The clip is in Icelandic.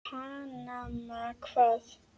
Panama hvað?